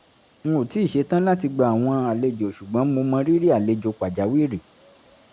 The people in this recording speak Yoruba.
n ò tíì ṣetán láti gba àwọn àlejò ṣùgbọ́n mo mọrírì àlejò pàjáwìrì